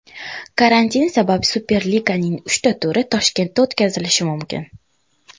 Karantin sabab Superliganing uchta turi Toshkentda o‘tkazilishi mumkin !